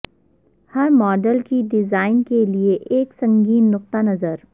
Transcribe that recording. ہر model کی design کے لئے ایک سنگین نقطہ نظر